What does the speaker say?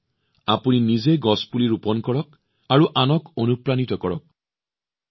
আপোনালোকে নিজে গছপুলি ৰোপণ কৰক আৰু আনকো অনুপ্ৰাণিত কৰক